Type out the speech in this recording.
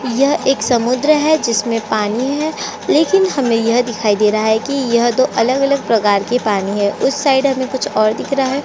यह एक समुद्र है जिसमे पानी है लेकिन हमे यह दिखाई दे रहा है की यह तो अलग-अलग प्रकार की पानी है उस साइड हमे कुछ और दिख रहा है।